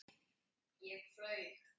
Ég flaug.